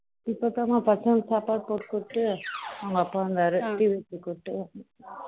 இப்போ தான் மா பசங்களுக்கு சாப்பாடு போட்டுட்டு உங்க அப்பா வந்தாரு டீ குடுத்துட்டு